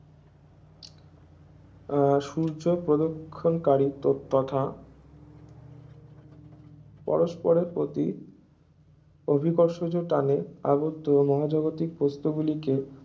উহ সূর্য প্রদক্ষিণকারী তথা পরস্পরের প্রতি অভিকর্ষজ টানে আবদ্ধ মহাজাগতিক বস্তু গুলিকে